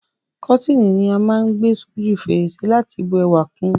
Kọ́tíni ni á má n gbé s'óju fèrèsé láti bu ẹwà kun